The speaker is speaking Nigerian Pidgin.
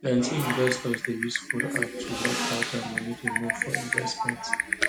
plenty investors dey use phone app to watch how dia money dey move for investment